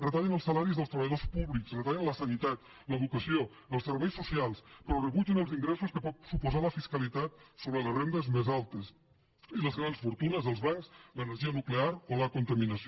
retallen els salaris dels treballadors públics retallen la sanitat l’educació els serveis socials però rebutgen els ingressos que pot suposar la fiscalitat sobre les rendes més altes i les grans fortunes els bancs l’energia nuclear o la contaminació